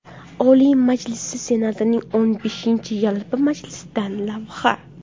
Oliy Majlisi Senatining o‘n beshinchi yalpi majlisidan lavha.